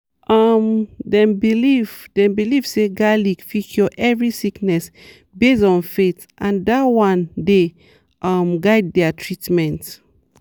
um dem believe dem believe say garlic fit cure every sickness based on faith and dat one dey um guide their treatment.